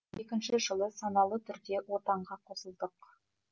екінші жылы саналы түрде отанға қосылдық